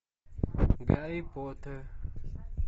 гарри поттер